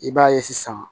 I b'a ye sisan